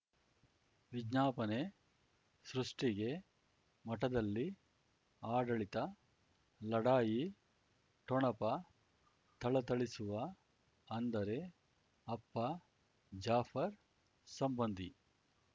ವಿಜ್ಞಾಪನೆ ಸೃಷ್ಟಿಗೆ ಮಠದಲ್ಲಿ ಆಡಳಿತ ಲಢಾಯಿ ಠೊಣಪ ಥಳಥಳಿಸುವ ಅಂದರೆ ಅಪ್ಪ ಜಾಫರ್ ಸಂಬಂಧಿ